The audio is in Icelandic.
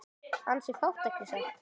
Ansi fátt ekki satt?